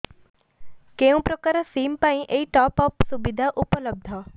କେଉଁ ପ୍ରକାର ସିମ୍ ପାଇଁ ଏଇ ଟପ୍ଅପ୍ ସୁବିଧା ଉପଲବ୍ଧ